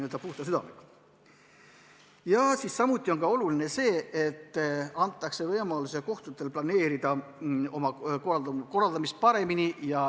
Oluline on ka see, et kohtutele antakse võimalus planeerida oma töökorraldust paremini.